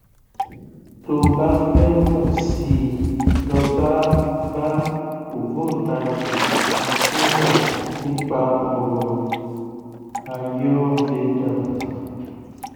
tó o bá fẹ mọ sí i lọ bá bá ògbóntagì kan tó mọ nípa ọrọ ayurveda